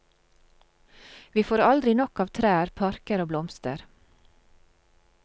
Vi får aldri nok av trær, parker og blomster.